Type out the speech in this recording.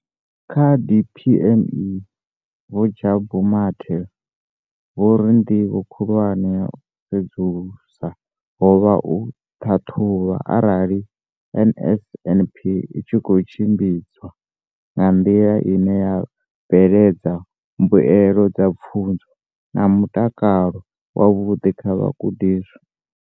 Kha DPME, Vho Jabu Mathe, vho ri ndivho khulwane ya u sedzulusa ho vha u ṱhaṱhuvha arali NSNP i tshi khou tshimbidzwa nga nḓila ine ya bveledza mbuelo dza pfunzo na mutakalo wavhuḓi kha vhagudiswa.